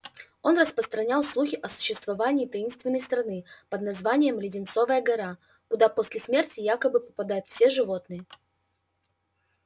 он распространял слухи о существовании таинственной страны под названием леденцовая гора куда после смерти якобы попадают все животные